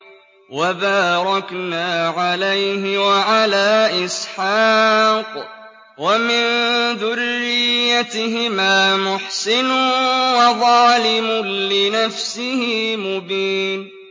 وَبَارَكْنَا عَلَيْهِ وَعَلَىٰ إِسْحَاقَ ۚ وَمِن ذُرِّيَّتِهِمَا مُحْسِنٌ وَظَالِمٌ لِّنَفْسِهِ مُبِينٌ